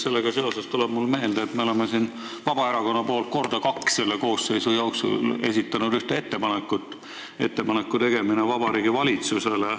Sellega seoses tuleb mulle meelde, et Vabaerakond on kaks korda selle koosseisu jooksul esitanud ühe eelnõu ettepaneku tegemise kohta Vabariigi Valitsusele.